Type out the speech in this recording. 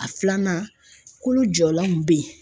A filanan kolo jɔlan be yen.